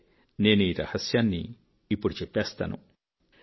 సరే నేను ఈ రహస్యాన్ని ఇప్పుడు చెప్పేస్తాను